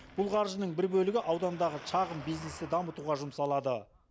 бұл қаржының бір бөлігі аудандағы шағын бизнесті дамытуға жұмсалады